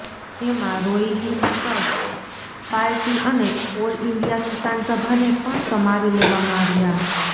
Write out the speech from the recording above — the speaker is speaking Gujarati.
એમાં રોયલિસ્ટ્સ પાર્ટી અને ઓલ ઈન્ડિયા કિસાન સભાને પણ સમાવી લેવામાં આવ્યા